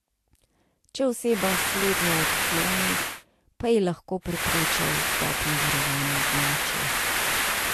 Če oseba slednje odkloni, pa ji lahko preprečijo vstop na varovano območje.